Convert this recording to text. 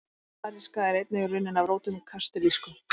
Kanaríska er einnig runnin af rótum kastilísku.